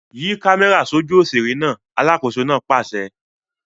Yí kámẹ́rà sójú òṣèré náà! Alákòóso náà pàṣẹ.